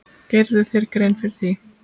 Gerirðu þér grein fyrir því?